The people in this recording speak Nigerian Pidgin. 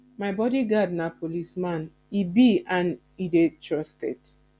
my bodyguard na policeman he be and he dey trusted